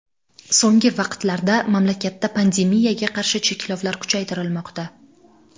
So‘nggi vaqtlarda mamlakatda pandemiyaga qarshi cheklovlar kuchaytirilmoqda.